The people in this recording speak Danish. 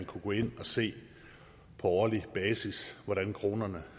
kunne gå ind og se på årlig basis hvordan kronerne